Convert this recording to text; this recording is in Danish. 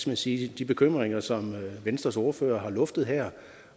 man sige de bekymringer som venstres ordfører har luftet her